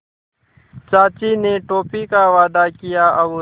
चाचा ने टॉफ़ी का वादा किया और